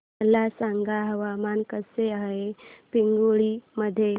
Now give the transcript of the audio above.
मला सांगा हवामान कसे आहे पिंगुळी मध्ये